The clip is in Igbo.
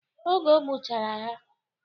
Oge o gbuchara ha.